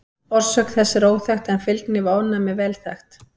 Orsök þess er óþekkt en fylgni við ofnæmi er vel þekkt.